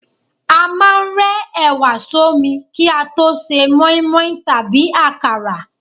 A máà ń rẹ ẹ̀wà sọ́mi ki a to se mọ́ímọ́í tàbí akara